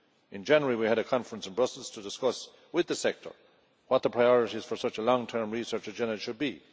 In January we had a conference in Brussels to discuss with the sector what the priorities for such a long term research agenda should be.